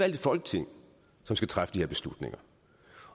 et folketing som skal træffe de her beslutninger